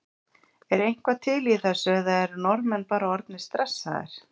Er eitthvað til í þessu eða eru Norðmenn bara orðnir stressaðir?